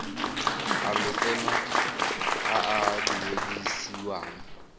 a lotseno a a duedisiwang